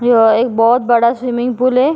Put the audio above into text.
यह एक बहुत बड़ा स्विमिंग पूल है।